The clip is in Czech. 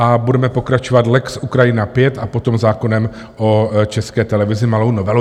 A budeme pokračovat lex Ukrajina V a potom zákonem o České televizi, malou novelou.